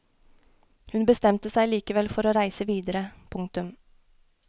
Hun bestemte seg likevel for å reise videre. punktum